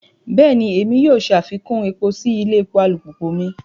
Bẹẹni, Èmí yóò ṣafikun èpo si ilé epo alupupu mi